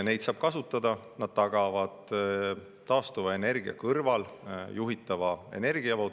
Neid saab kasutada, nad tagavad taastuva energia kõrval juhitava energiavoo.